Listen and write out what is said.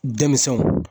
Denmisɛnw